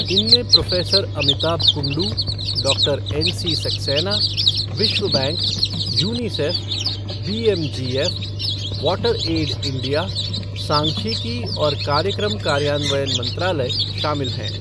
इनमें professor Amitabh Kundu, doctor NC Saxena, विश्व bank, UNICEF, BMGF, water aid India, सांख्यिकी और कार्यक्रम कार्यान्वयन मंत्रालय शामिल हैं।